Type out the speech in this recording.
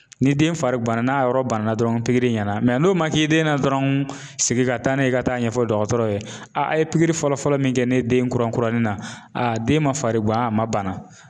Ni den fari ganna n'a yɔrɔ banna dɔrɔn pikiri ɲɛna n'o ma k'i den na dɔrɔn segin ka taa n'a ye ka taa ɲɛfɔ dɔgɔtɔrɔ ye a ye pikiri fɔlɔ fɔlɔ min kɛ ne den kura kuranin na a den ma farigan a ma bana